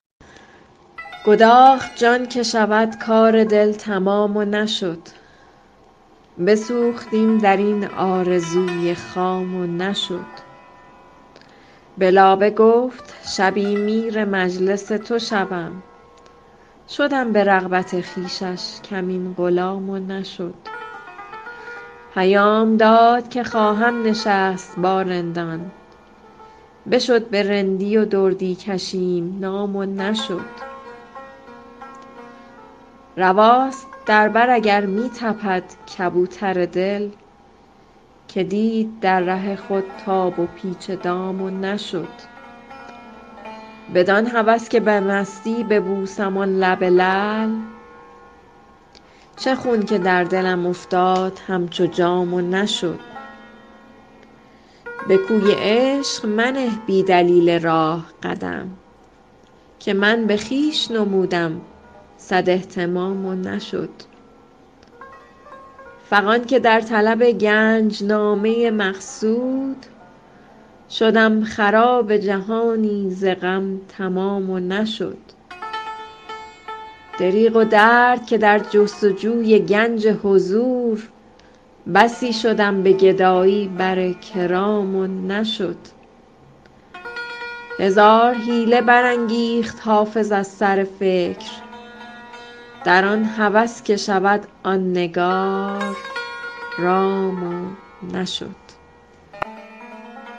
گداخت جان که شود کار دل تمام و نشد بسوختیم در این آرزوی خام و نشد به لابه گفت شبی میر مجلس تو شوم شدم به رغبت خویشش کمین غلام و نشد پیام داد که خواهم نشست با رندان بشد به رندی و دردی کشیم نام و نشد رواست در بر اگر می تپد کبوتر دل که دید در ره خود تاب و پیچ دام و نشد بدان هوس که به مستی ببوسم آن لب لعل چه خون که در دلم افتاد همچو جام و نشد به کوی عشق منه بی دلیل راه قدم که من به خویش نمودم صد اهتمام و نشد فغان که در طلب گنج نامه مقصود شدم خراب جهانی ز غم تمام و نشد دریغ و درد که در جست و جوی گنج حضور بسی شدم به گدایی بر کرام و نشد هزار حیله برانگیخت حافظ از سر فکر در آن هوس که شود آن نگار رام و نشد